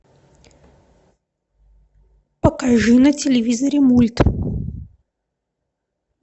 покажи на телевизоре мульт